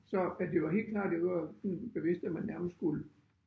Så at det var helt klart det var sådan bevidst at man nærmest skulle